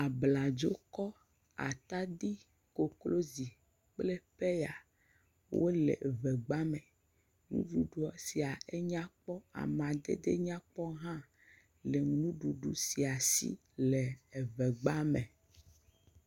Abladzokɔ, atadi, koklozi kple pɛya wole ŋegba me. Nuɖuɖu sia enya kpɔ. Amadede nyakpɔ hã le nuɖuɖu sia si le eŋegba me.